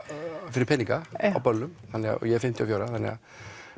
fyrir peninga á böllum og ég er fimmtíu og fjögurra ára þannig að